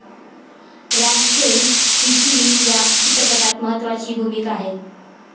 RAM Sen हिचीही या चित्रपटात महत्वाची भूमिका आहे.